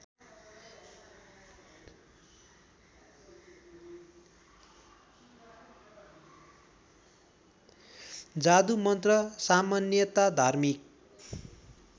जादुमन्त्र सामान्यतया धार्मिक